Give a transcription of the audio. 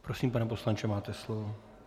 Prosím, pane poslanče, máte slovo.